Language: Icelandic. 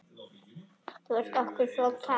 Þú varst okkur svo kær.